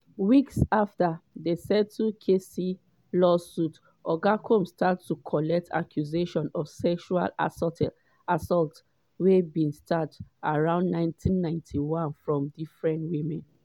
weeks afta dem settle cassie lawsuit oga combs start to collect accusation of sexual assault wey bin start around 1991 from different women.